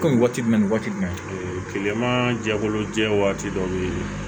Kɔmi waati jumɛn ni waati jumɛn kileman jɛkulu jɛ waati dɔ be yen